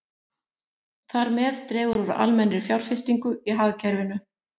Þar með dregur úr almennri fjárfestingu í hagkerfinu.